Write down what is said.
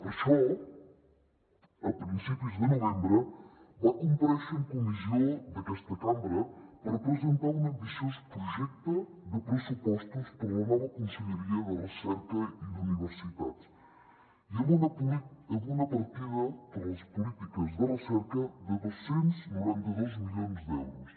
per això a principis de novembre va comparèixer en comissió d’aquesta cambra per presentar un ambiciós projecte de pressupostos per a la nova conselleria de recerca i d’universitats i amb una partida per a les polítiques de recerca de dos cents i noranta dos milions d’euros